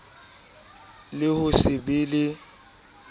le ho se be le